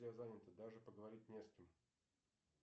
все заняты даже поговорить не с кем